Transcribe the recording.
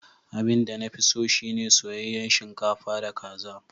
Abin da na fi so shi ne soyayyen shinkafa da kaza.